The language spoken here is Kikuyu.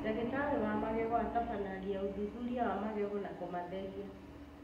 Ndagĩtarĩ wa magego atabanagia ũthuthuria wa magego na kũmatheria